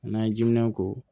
N'an ye jiminɛn k'o